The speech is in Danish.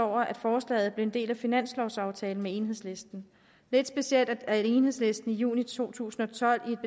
over at forslaget blev en del af finanslovaftalen med enhedslisten lidt specielt er det da enhedslisten i juni to tusind og tolv i